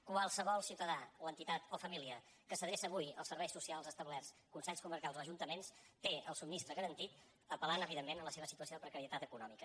qualsevol ciutadà o entitat o família que s’adreça avui als serveis socials establerts consells comarcals o ajuntaments té el subministrament garantit apel·lant evidentment a la seva situació de precarietat econòmica